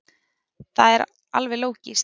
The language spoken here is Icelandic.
Það er alveg lógískt.